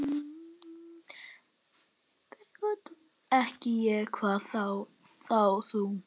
Ekki ég, hvað þá þú.